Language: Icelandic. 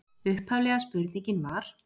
Upphaflega spurningin var: